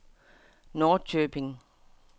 Norrköping